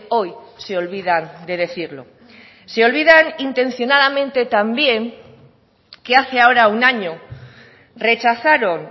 hoy se olvidan de decirlo se olvidan intencionadamente también que hace ahora un año rechazaron